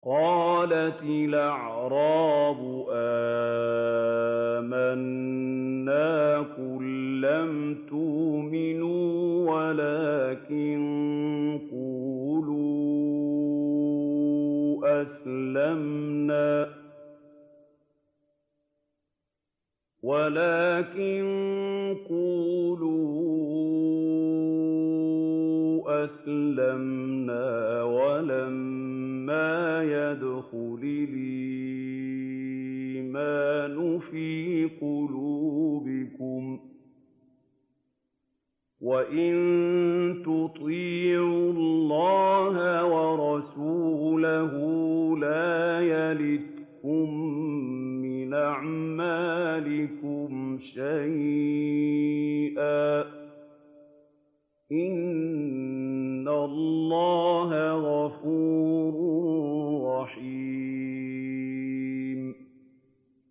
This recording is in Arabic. ۞ قَالَتِ الْأَعْرَابُ آمَنَّا ۖ قُل لَّمْ تُؤْمِنُوا وَلَٰكِن قُولُوا أَسْلَمْنَا وَلَمَّا يَدْخُلِ الْإِيمَانُ فِي قُلُوبِكُمْ ۖ وَإِن تُطِيعُوا اللَّهَ وَرَسُولَهُ لَا يَلِتْكُم مِّنْ أَعْمَالِكُمْ شَيْئًا ۚ إِنَّ اللَّهَ غَفُورٌ رَّحِيمٌ